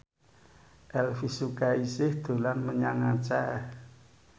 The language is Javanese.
Elvi Sukaesih dolan menyang Aceh